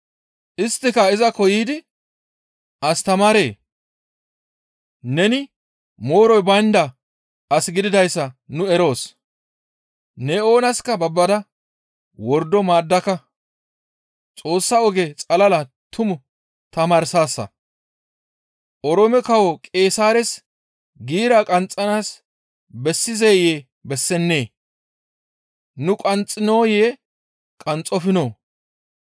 Isttika izakko yiidi, «Astamaaree! Neni mooroy baynda as gididayssa nu eroos; ne oonaska babbada wordo maaddaka; Xoossa oge xalala tumu tamaarsaasa. Oroome kawo Qeesaares giira qanxxanaas bessizeyee? Bessennee? Nu qanxxinoyee? Qanxxofinoo?»